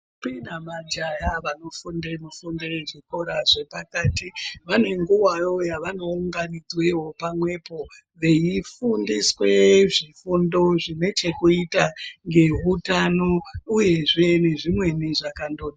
...mbi namajaya vanofunde mufundo yezvikora zvepakati vanenguvawo yavanounganidzwewo pamwepo, veifundiswe zvifundo zvinechekuita ngeutano uyezve nezvimweni zvakando...